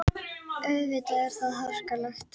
Auðvitað er það harkalegt.